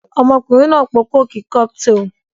Ọmọkùnrin náà po kókì Cocktail